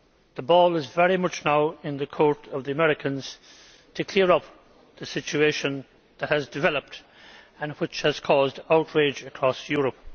the ball is very much now in the court of the Americans to clear up the situation that has developed and which has caused outrage across Europe.